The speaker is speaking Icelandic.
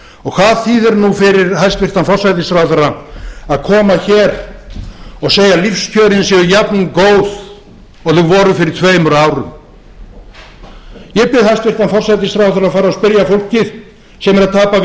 brugðist hvað þýðir nú fyrir hæstvirtan forsætisráðherra að koma hér og segja að lífskjörin séu jafngóð og þau voru fyrir tveimur árum ég bið hæstvirtan forsætisráðherra að fara og spyrja fólkið sem er að tapa